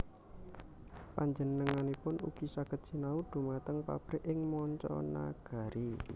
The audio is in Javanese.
Panjenenganipun ugi saged sinau dhumateng pabrik ing manca nagari